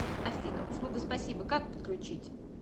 афина услуга спасибо как подключить